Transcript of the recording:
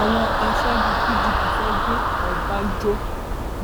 àwọn aṣáájú pdp fẹẹ gbé ọbànjọ